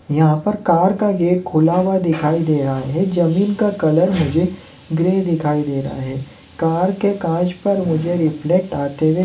यहाँ पर कार का गेट खुला हुआ दिखाई दे रहा है जमीन का कलर मुझे ग्रे दिखाई दे रहा है कार के काँच पर मुझे रिफलेक्ट आते हुए--